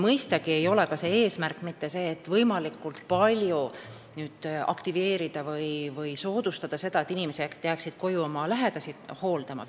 Mõistagi ei ole eesmärk mitte see, et võimalikult palju aktiveerida või soodustada seda, et inimesed jääksid koju oma lähedasi hooldama.